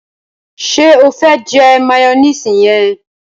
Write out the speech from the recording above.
ṣe o fe jẹ mayonnaise yẹn?